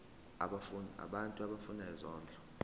abantu abafuna isondlo